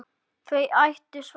Þau áttu svæðið.